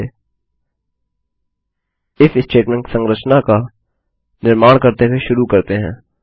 चलिए if statement संरचना का निर्माण करते हुए शुरू करते हैं